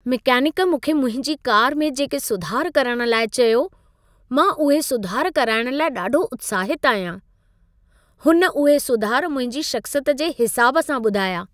Mechanic मूंखे मुंहिंजी car में जेके सुधार करण लाइ चयो, मां उहे सुधार कराइण लाइ ॾाढो उत्साहितु आहियां। हुन उहे सुधार मुंहिंजी शख़्सियत जे हिसाब सां ॿुधाया।